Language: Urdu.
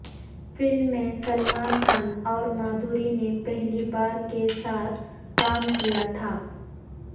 فلم میں سلمان خان اور مادھوری نے پہلی بار کے ساتھ کام کیا تھا